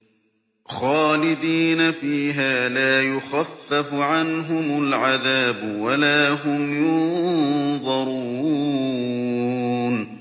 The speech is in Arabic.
خَالِدِينَ فِيهَا ۖ لَا يُخَفَّفُ عَنْهُمُ الْعَذَابُ وَلَا هُمْ يُنظَرُونَ